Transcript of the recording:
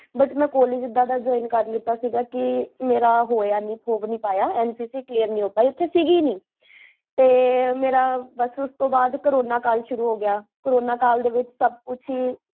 but, ਮੈਂ college ਏਦਾਂ ਦਾ ਜੋੰ ਕਕਰ ਲੀਤਾ ਸੀਗਾ ਕੀ, ਮੇਰਾ ਹੋਇਆ ਨੀ, ਹੋ ਵੀ ਨੀ ਪਾਇਆ, ਨਕਕ clear ਨੀ ਹੋ ਪਾਇਆ ਓਥੇ ਸੀਗੀ ਹੀ ਨੀ, ਤੇ ਮੇਰਾ ਬੱਸ ਉਸ ਤੋ ਬਾਦ ਕੋਰੋਨਾ ਕਾਲ ਸ਼ੁਰੂ ਹੋ ਗਿਆ ਕੋਰੋਨਾ ਕਾਲ ਦੇ ਵਿੱਚ ਸਬ ਕੁਛ ਹੀ